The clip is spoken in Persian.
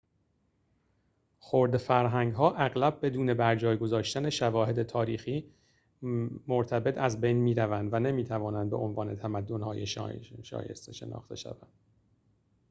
خرده فرهنگ‌ها اغلب بدون برجای گذاشتن شواهد تاریخی مرتبط از بین می‌روند و نمی‌توانند به‌عنوان تمدن‌های شایسته شناخته شوند